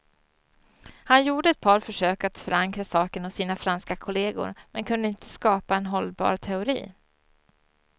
Han gjorde ett par försök att förankra saken hos sina franska kolleger, men kunde inte skapa en hållbar teori.